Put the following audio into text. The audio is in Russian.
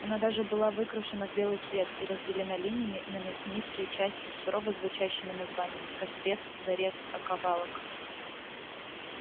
она даже была выкрашена в белый цвет и разделена линиями на мясницкие части с сурово звучащими названиями кострец зарез оковалок